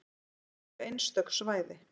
Þetta eru einstök svæði.